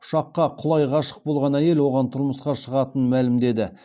ұшаққа құлай ғашық болған әйел оған тұрмысқа шығатынын мәлімдеді